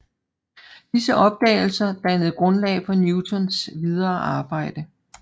Disse opdagelser dannede grundlag for Newtons videre arbejde